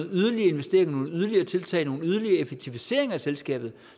yderligere investeringer nogle yderligere tiltag nogle yderligere effektiviseringer af selskabet